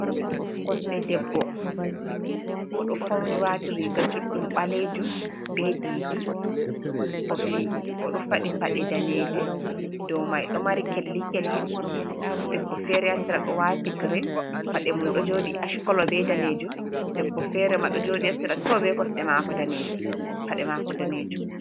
Kosɗe debbo, o ɗo fawni waati riiga juuɗɗum ɓaleejum bee diidi. O ɗo faɗɗi paɗe daneeje, dow maaje ɗo mari ''kelli-kelli''. Ndaa debbo feere haa sera ɗo waati ''green'' paɗe mum ɗo njooɗi ''ash colour'' bee daneejum. Debbo feere ma ɗo jooɗi haa sera too bee paɗe maako daneejum.